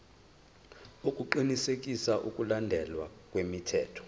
ukuqinisekisa ukulandelwa kwemithetho